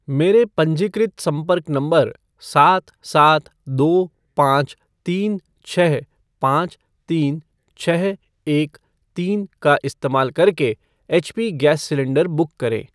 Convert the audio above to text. मेरे पंजीकृत संपर्क नंबर सात सात दो पाँच तीन छः पाँच तीन छः एक तीन का इस्तेमाल करके एचपी गैस सिलेंडर बुक करें।